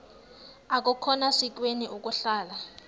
akukhona sikweni ukuhlala